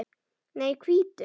Nei, hvítu.